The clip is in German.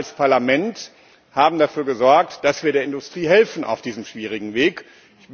Wir als Parlament haben dafür gesorgt, dass wir der Industrie auf diesem schwierigen Weg helfen.